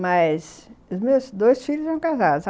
Mas os meus dois filhos são casados.